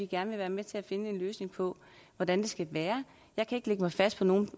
gerne være med til at finde en løsning på hvordan det skal være jeg kan ikke lægge mig fast på nogen